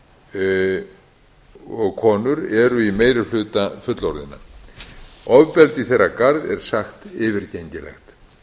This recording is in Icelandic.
eru í meiri hluta fullorðinna ofbeldi í þeirra garð er sagt vera yfirgengilegt